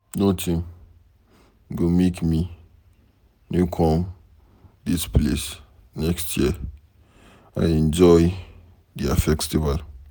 Nothing go make me no come dis place next year. I enjoy their festival.